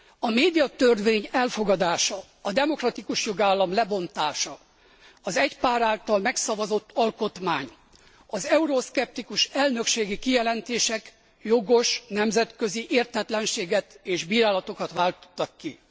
A médiatörvény elfogadása, a demokratikus jogállam lebontása, az egy párt által megszavazott alkotmány, az euroszkeptikus elnökségi kijelentések jogos nemzetközi értetlenséget és bírálatokat váltottak ki.